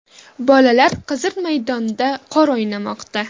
Bolalar Qizil maydonda qor o‘ynamoqda.